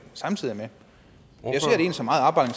jeg